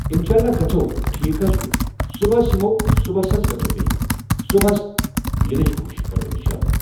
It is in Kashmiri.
اِنشاءاللہ گژھو ٹھیٖک حض چھُ صُبحَس یِمو صُبحَس حض گژھو بیٚیہِ صُبحَس یِنہٕچ کوٗشِش کرو اِنشاءاللہ.